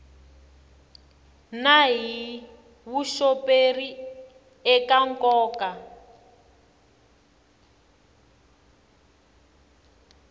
na hi vuxoperi eka nkoka